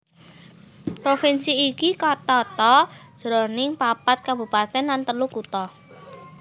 Provinsi iki katata jroning papat kabupatèn lan telu kutha